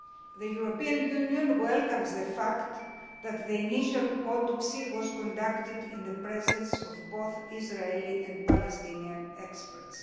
The European Union welcomes the fact that the initial autopsy was conducted in the presence of both Israeli and Palestinian experts.